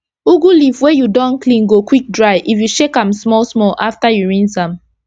ugu leaf wey u don clean go quick dry if u shake am small small after u rinse am